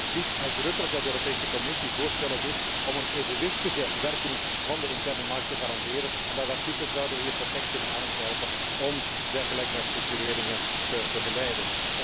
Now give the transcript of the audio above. Dat voorziet uitdrukkelijk in de mogelijkheid dat de Europese Commissie voorstellen doet om een evenwichtige werking van de interne markt te garanderen en dat artikel zouden we hier perfect kunnen aangrijpen om dergelijke herstructureringen te begeleiden.